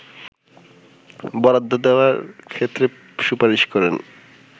বরাদ্দ দেওয়ার ক্ষেত্রে সুপারিশ করেন